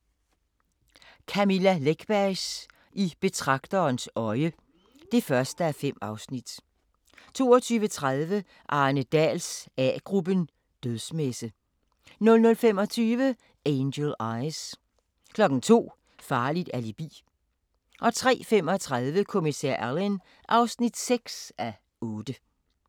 21:00: Camilla Läckbergs I betragterens øje (1:5) 22:30: Arne Dahls A-gruppen: Dødsmesse 00:25: Angel Eyes 02:00: Farligt alibi 03:35: Kommissær Alleyn (6:8)